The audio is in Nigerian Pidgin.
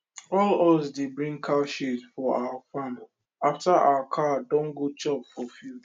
all us dey bring cow shit for our farm after our cow don go chop for field